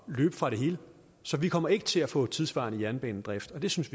løbe fra det hele så vi kommer ikke til at få tidssvarende jernbanedrift og det synes